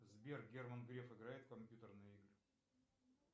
сбер герман греф играет в компьютерные игры